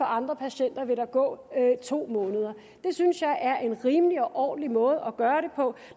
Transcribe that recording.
andre patienter vil gå to måneder det synes jeg er en rimelig og ordentlig måde at gøre det på